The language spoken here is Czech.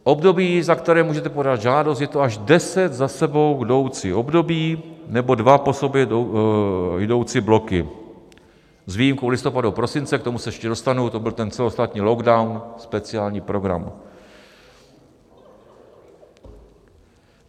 Období, za které můžete podat žádost, je to až deset za sebou jdoucích období nebo dva po sobě jdoucí bloky s výjimkou listopadu a prosince, k tomu se ještě dostanu, to byl ten celostátní lockdown, speciální program.